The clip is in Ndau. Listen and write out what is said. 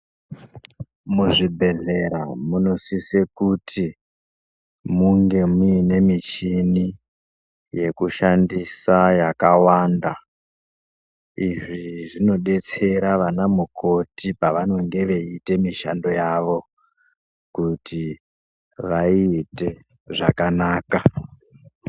Muzvibhedhlera munosisa kuti munge muine michini yekushandisa yakawanda. Izvi zvinodetsera anamukoti pavanenge veiita mishando yavo kuti vaiiite zvakanaka.